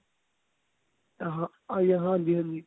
ਆਹ ਹਾਂਜੀ ਹਾਂਜੀ